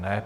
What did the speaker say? Ne.